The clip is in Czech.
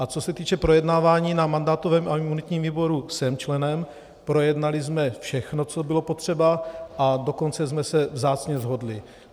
A co se týče projednávání na mandátovém a imunitním výboru, jsem členem, projednali jsme všechno, co bylo potřeba, a dokonce jsme se vzácně shodli.